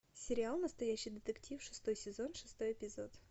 сериал настоящий детектив шестой сезон шестой эпизод